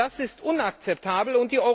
Das ist unakzeptabel!